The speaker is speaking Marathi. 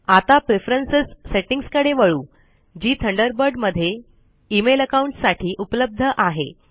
आता प्रेफरन्स सेटिंग्स कडे वळू जी थंडरबर्ड मध्ये इमेल अकाउंट्स साठी उपलब्ध आहे